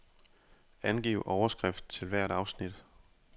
Angiv overskrift til hvert afsnit.